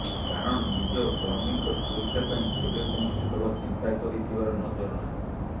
କାରଣ ନିଜ କର୍ମିଙ୍କ ସୁରକ୍ଷା ପାଇଁ କେବେ କୌଣସି ଦଳ ଚିନ୍ତା କରି ଥିବାର ନଜର ନାହିଁ